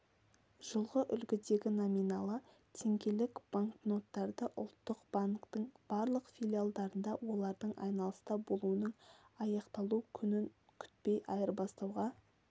жылғы үлгідегі номиналы теңгелік банкноттарды ұлттық банктің барлық филиалдарында олардың айналыста болуының аяқталу күнін күтпей айырбастауға